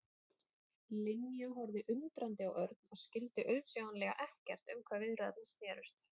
Linja horfði undrandi á Örn og skyldi auðsjáanlega ekkert um hvað viðræðurnar snerust.